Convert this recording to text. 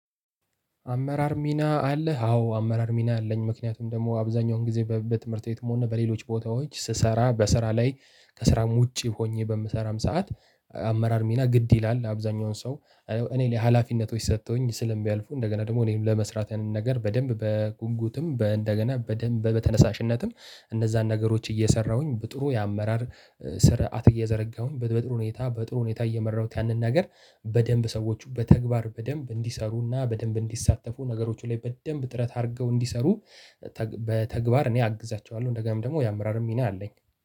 አመራር ሚና አለህ? አዎ አመራር ሚና አለኝ ምክንያቱም ደግሞ አብዛኛውን ጊዜ በትምህርት ቤትም ሆነ በሌሎች ቦታዎች ስሰራ በስራ ላይ ከስራም ውጪ ሆኜ በምሰራበት ሰዓት አመራር ሚና ግድ ይላል። አብዛኛውን ሰው እኔ ላይ ሀላፊነቶች ሰጥተውኝ ስለሚያልፉ እንደገና ደግሞ እኔን ለመስራት ያንን ነገር በደንብ በጉጉትም በ እንደገና በደንብ በተነሳሽነትም እነዛን ነገሮች እየሰራሁኝ በጥሩ የአመራር ስረአት እየዘረጋሁ በጥሩ ሁኔታ በጥሩ ሁኔታ እየመራሁት ያንን ነገር በደምብ ሰዎቹ በተግባር በደምብ እንዲሰሩና በደምብ እንዲሳተፉ ነገሮቹ ላይ በደምብ ጥረት አድርገው እንዲሰሩ በተግባር እኔ አግዛቸዋለሁ። እንደገናም ደግሞ የአመራርም ሚና አለኝ።